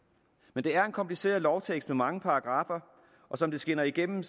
men det er en kompliceret lovtekst med mange paragraffer og som det skinner igennem